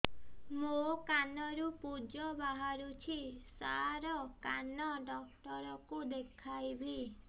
ମୋ କାନରୁ ପୁଜ ବାହାରୁଛି ସାର କାନ ଡକ୍ଟର କୁ ଦେଖାଇବି